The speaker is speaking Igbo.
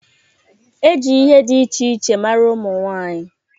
E ji ihe dị iche iche mara ụmụ nwaanyị.